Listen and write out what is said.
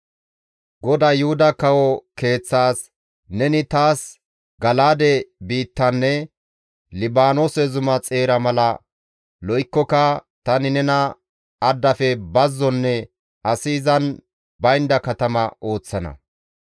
GODAY Yuhuda kawo keeththas, «Neni taas Gala7aade biittanne Libaanoose zuma xeera mala lo7ikkoka tani nena addafe bazzonne asi izan baynda katama ooththana.